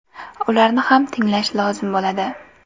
Ularni ham tinglash lozim bo‘ladi.